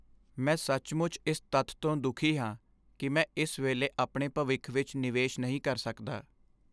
ਮੈਂ ਸੱਚਮੁੱਚ ਇਸ ਤੱਥ ਤੋਂ ਦੁਖੀ ਹਾਂ ਕਿ ਮੈਂ ਇਸ ਵੇਲੇ ਆਪਣੇ ਭਵਿੱਖ ਵਿੱਚ ਨਿਵੇਸ਼ ਨਹੀਂ ਕਰ ਸਕਦਾ।